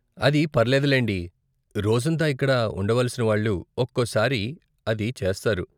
అది పర్లేదులేండి, రోజంతా ఇక్కడ ఉండవలసిన వాళ్ళు ఒక్కోసారి అది చేస్తారు.